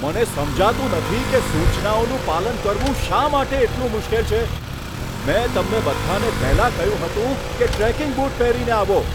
મને સમજાતું નથી કે સૂચનાઓનું પાલન કરવું શા માટે એટલું મુશ્કેલ છે. મેં તમને બધાને પહેલાં કહ્યું હતું કે ટ્રેકિંગ બૂટ પહેરીને આવો.